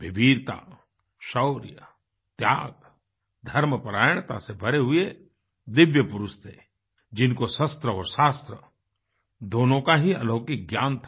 वे वीरता शौर्य त्याग धर्मपरायणता से भरे हुए दिव्य पुरुष थे जिनको शस्त्र और शास्त्र दोनों का ही अलौकिक ज्ञान था